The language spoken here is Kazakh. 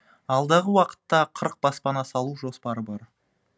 алдағы уақытта баспана салу жоспары бар